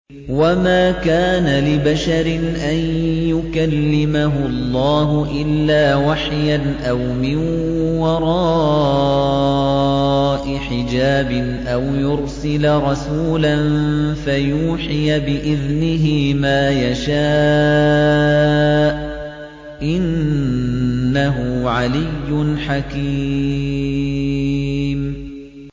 ۞ وَمَا كَانَ لِبَشَرٍ أَن يُكَلِّمَهُ اللَّهُ إِلَّا وَحْيًا أَوْ مِن وَرَاءِ حِجَابٍ أَوْ يُرْسِلَ رَسُولًا فَيُوحِيَ بِإِذْنِهِ مَا يَشَاءُ ۚ إِنَّهُ عَلِيٌّ حَكِيمٌ